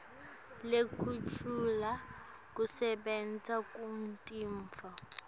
lekugucula kusebenta kwetintfo